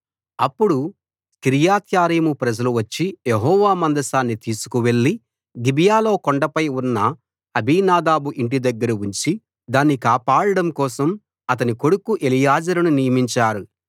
అప్పుడు కిర్యత్యారీము ప్రజలు వచ్చి యెహోవా మందసాన్ని తీసుకువెళ్ళి గిబియాలో కొండపై ఉన్న అబీనాదాబు ఇంటి దగ్గర ఉంచి దాన్ని కాపాడడం కోసం అతని కొడుకు ఎలియాజరును నియమించారు